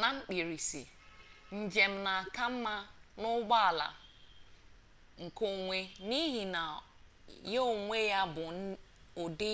na mkpirisi njem na aka mma n'ụgbọala nke onwe n'ihi na ya onwe ya bụ ụdị